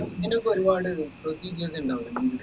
ഇതിനൊക്കെ ഒരുപാട് procedures ഇണ്ടാവൂലെ